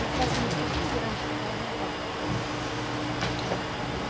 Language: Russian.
на красном октябре где раньше шоколадная фабрика была